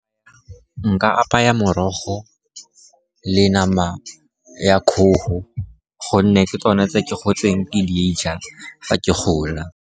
Nka apaya morogo le nama ya kgogo, gonne ke tsone tse ke gotseng ke di ja fa ke gola.